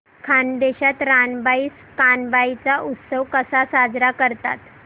खानदेशात रानबाई कानबाई चा उत्सव कसा साजरा करतात